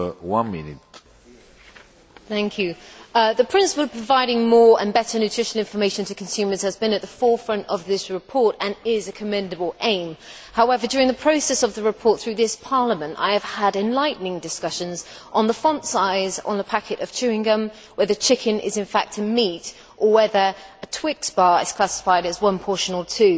Mr President, the principle of providing more and better nutritional information to consumers has been at the forefront of this report and is a commendable aim. However, during the process of the report through this Parliament, I have had enlightening discussions on the font size on a packet of chewing gum, whether chicken is in fact a meat, or whether a Twix bar is classified as one portion or two.